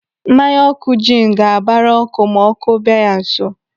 Mmanya ọkụ jin ga-abara ọkụ ma ọkụ bịa ya nso.